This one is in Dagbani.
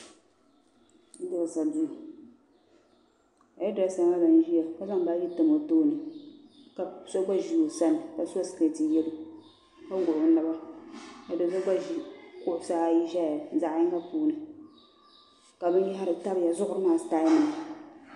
Hair direesa duu ka hair direesa maa ʒiya ka zaŋ baagi tam o tooni ka so gba ʒi o sani ka so sikeeti yalo ka wuhi o naba ka do so gba ʒi kuɣusaayi ʒeya zaɣyinga puuni ka binyaɣari tamya zuɣuri maa sitaayinima.